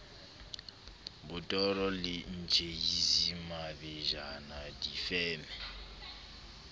botoro le tjhisi mabejana difeme